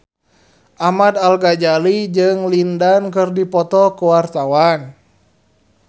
Ahmad Al-Ghazali jeung Lin Dan keur dipoto ku wartawan